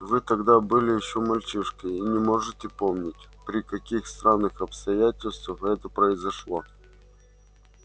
вы тогда были ещё мальчишкой и не можете помнить при каких странных обстоятельствах это произошло